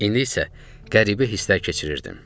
İndi isə qəribə hisslər keçirirdim.